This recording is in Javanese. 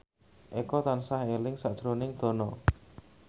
Eko tansah eling sakjroning Dono